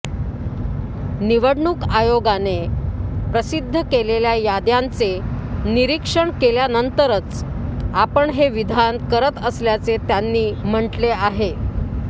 निवडणूक आयोगाने प्रसिद्ध केलेल्या याद्यांचे निरीक्षण केल्यानंतरच आपण हे विधान करत असल्याचे त्यांनी म्हटले आहे